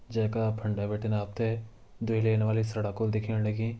जेका फंडे बटिन आपते द्वि लेन वाली सड़क होल दिखेण लगी।